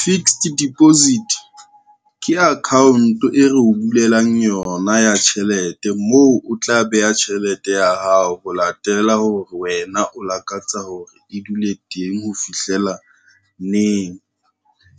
Fixed deposit, ke account e re o bulelang yona ya tjhelete moo o tla beha tjhelete ya hao ho latela hore wena o lakatsa hore e dule teng ho fihlela neng.